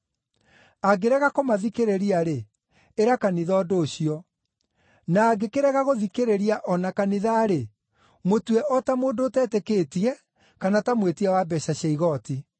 Angĩrega kũmathikĩrĩria-rĩ, ĩra kanitha ũndũ ũcio; na angĩkĩrega gũthikĩrĩria o na kanitha-rĩ, mũtue o ta mũndũ ũtetĩkĩtie kana ta mwĩtia wa mbeeca cia igooti.